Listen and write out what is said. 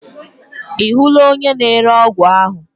Ị hụla onye na-ere ọgwụ ahu?